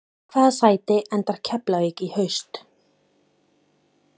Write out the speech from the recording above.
Í hvaða sæti endar Keflavík í haust?